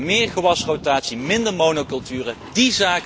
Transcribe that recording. We moeten meer gewasrotatie, minder monoculturen toepassem.